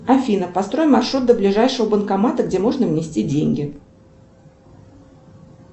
афина построй маршрут до ближайшего банкомата где можно внести деньги